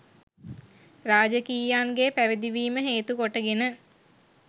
රාජකීයයන් ගේ පැවිදිවීම හේතුකොට ගෙන